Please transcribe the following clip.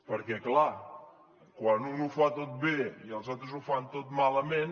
perquè és clar quan un ho fa tot bé i els altres ho fan tot malament